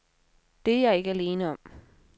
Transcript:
Det er jeg ikke alene om.